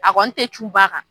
A kɔni tɛ cun ba kan.